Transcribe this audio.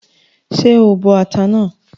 Ṣé o bọ ata náà?